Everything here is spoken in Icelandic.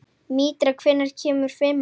Mítra, hvenær kemur fimman?